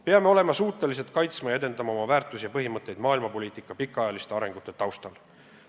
Peame olema suutelised kaitsma ja edendama oma väärtusi ja põhimõtteid maailmapoliitika pikaajaliste arengute taustal.